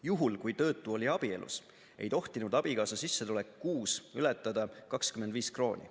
Juhul, kui töötu oli abielus, ei tohtinud abikaasa sissetulek kuus ületada 25 krooni.